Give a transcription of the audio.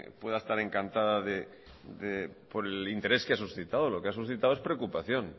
pueda estar encantada por el interés que ha suscitado lo que ha suscitado es preocupación